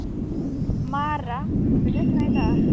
Mara, mun rigna í dag?